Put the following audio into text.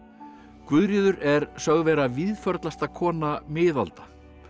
Guðríður er sögð vera kona miðalda